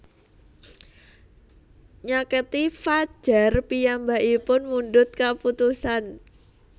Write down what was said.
Nyaketi fajar piyambakipun mundhut kaputusan